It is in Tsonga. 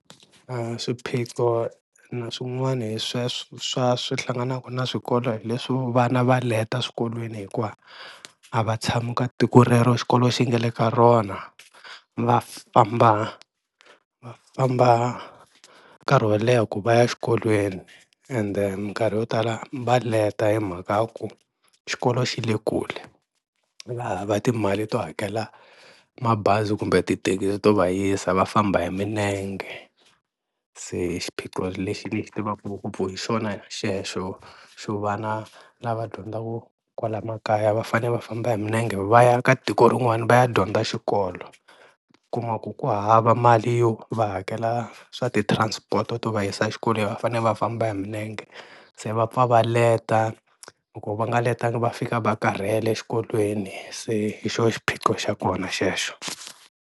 Swiphiqo na swin'wana hi sweswo swa swihlanganaka na swikolo hi leswi vana va leta swikolweni hikuva a va tshami ka tiko rero xikolo xi nga le ka rona va famba va famba nkarhi wo leha ku va ya xikolweni ende minkarhi yo tala va leta hi mhaka ya ku xikolo xi le kule, va hava timali to hakela mabazi kumbe tithekisi to va yisa va famba hi milenge, se xiphiqo lexi ni xi tivaka ngopfu hi xona xexo xo vana lava dyondzaka kwala makaya va fane va famba hi milenge va ya ka tiko rin'wani va ya dyondza xikolo, u kuma ku ku hava mali leyo va hakela swa ti-transport to va yisa xikolweni va fane va famba hi milenge, se va pfa va leta loko va nga letanga va fika va karhele exikolweni, se hi xoho xiphiqo xa kona xexo.